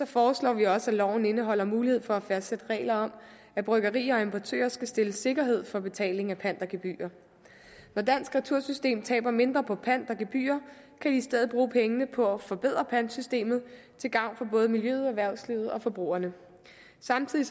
foreslår vi også at loven skal indeholde mulighed for at fastsætte regler om at bryggerier og importører skal stille sikkerhed for betaling af pant og gebyrer når dansk retursystem taber mindre på pant og gebyrer kan vi i stedet bruge pengene på at forbedre pantsystemet til gavn for både miljøet erhvervslivet og forbrugerne samtidig